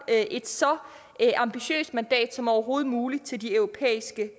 et så ambitiøst mandat som overhovedet muligt til de europæiske